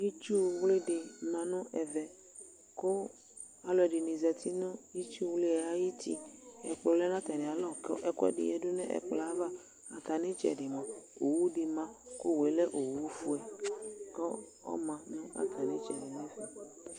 itsuwli dɩ mă nʊ ɛmɛ, kʊ aluɛdɩnɩ zati nʊ itsuwli yɛ ayʊ uti kʊ ɛkplɔ lɛ nʊ atamialɔ, kʊ ɛkuɛdɩ yǝdu nʊ ɛkpɔ yɛ ava, ɣa nʊ itsɛdɩ mua mɛ owu dɩ mă kʊ owu yɛ lɛ ofue, kʊ ɔmă nʊ atamitsɛdɩ nɛfɛ